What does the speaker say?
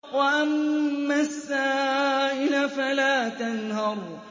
وَأَمَّا السَّائِلَ فَلَا تَنْهَرْ